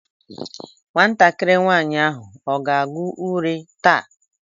Nwatakịrị nwaanyị ahụ ọ ga-agụ uri taa?